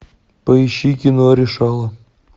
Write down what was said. поищи кино решала